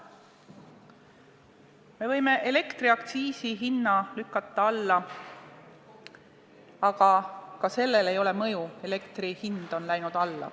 Me võime elektriaktsiisi alla lükata, aga ka sellel ei ole mõju, elektri hind on alla läinud.